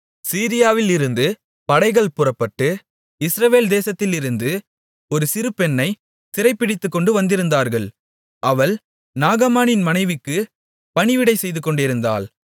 சீரியாவிலிருந்து படைகள் புறப்பட்டு இஸ்ரவேல் தேசத்திலிருந்து ஒரு சிறுபெண்ணைச் சிறைபிடித்துக்கொண்டு வந்திருந்தார்கள் அவள் நாகமானின் மனைவிக்குப் பணிவிடை செய்துகொண்டிருந்தாள்